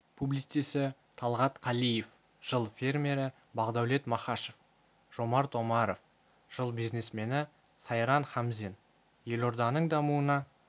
публицисі талғат қалиев жыл фермері бақдәулет махашов жомарт омаров жыл бизнесмені сайран хамзин елорданың дамуына